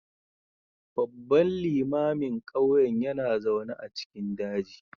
Babban limamin ƙauyen yana zaune a cikin daji